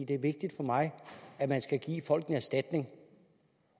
det er vigtigt for mig at man skal give folk en erstatning